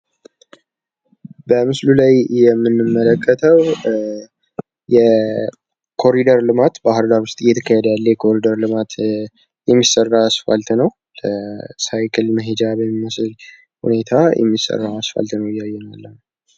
በምስሉ ላይ የምንመለከተው ባህርዳር ውስጥ እየተካሄደ ያለን የኮሪደር ልማት የሚሰራ አስፓልት ነው። ሳይክል መሄጃ በሚመስል ሁኔታ የሚሰራን አስፓልት ነው እያየን ያለንው።